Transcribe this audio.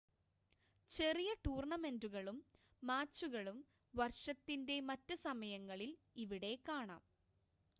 ചെറിയ ടൂർണ്ണമെൻ്റുകളും മാച്ചുകളും വർഷത്തിൻ്റെ മറ്റ് സമയങ്ങളിൽ ഇവിടെ കാണാം